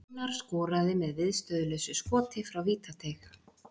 Einar skoraði með viðstöðulausu skoti frá vítateig.